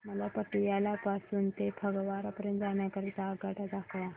मला पटियाला पासून ते फगवारा पर्यंत जाण्या करीता आगगाड्या दाखवा